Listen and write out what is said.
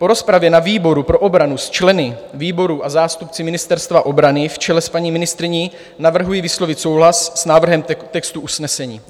Po rozpravě na výboru pro obranu s členy výboru a zástupci Ministerstva obrany v čele s paní ministryní navrhuji vyslovit souhlas s návrhem textu usnesení.